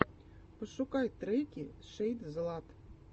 пошукай треки шэйдзлат